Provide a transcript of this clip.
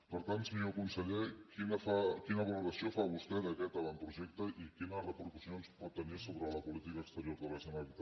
per tant senyor conseller quina valoració fa vostè d’aquest avantprojecte i quines repercussions pot tenir sobre la política exterior de la generalitat